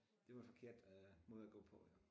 Det var forkert øh måde at gå på jo